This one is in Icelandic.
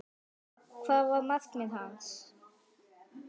Hvað var markmið hans?